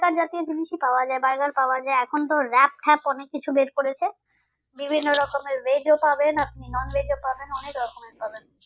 জাতীয় জিনিসই পাওয়া যায় berger পাওয়া যায় এখন তো ট্যাপ অনেক কিছু বার করেছে । বিভিন্ন রকমের veg ও পাবেন আপনি non veg ও পাবেন অনেক রকমের পাবেন।